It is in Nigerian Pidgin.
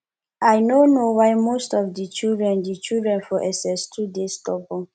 i no know why most of di children di children for ss2 dey stubborn